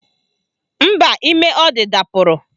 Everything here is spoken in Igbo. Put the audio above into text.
Mba, ime ọ dị dapụrụ